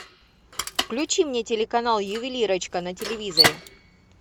включи мне телеканал ювелирочка на телевизоре